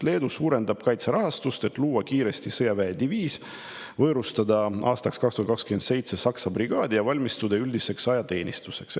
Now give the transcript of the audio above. Leedu suurendab kaitserahastust, et luua kiiresti sõjaväediviis, võõrustada aastal 2027 Saksa brigaadi ja valmistuda üldiseks ajateenistuseks.